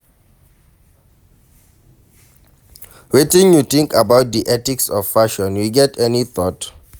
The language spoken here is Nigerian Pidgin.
Wetin you think about di ethics of fashion, you get any thought?